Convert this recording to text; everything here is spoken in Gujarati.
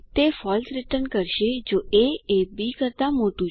તે ફોલ્સ રીટર્ન કરશે જો એ એ બી કરતાં મોટું છે